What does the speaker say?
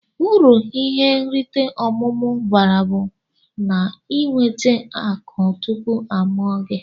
Uru ihe nrite omumu bara bu naa inwete aku tupu amụọ gi.